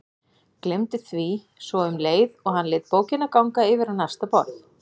Gleymdi því svo um leið og hann lét bókina ganga yfir á næsta borð.